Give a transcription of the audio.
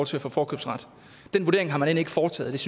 til at få forkøbsret den vurdering har man end ikke foretaget